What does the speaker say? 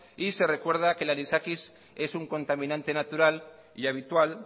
y se recuerda que el anisakis es un contaminante natural y habitual